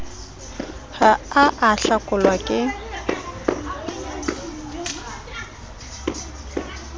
ha a a hlakelwa ke